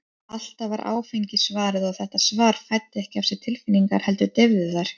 Alltaf var áfengi svarið, og þetta svar fæddi ekki af sér tilfinningar, heldur deyfði þær.